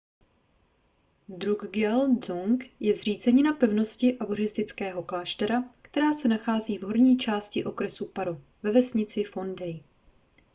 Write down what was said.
drukgyal dzong je zřícenina pevnosti a buddhistického kláštera která se nachází v horní části okresu paro ve vesnici phondey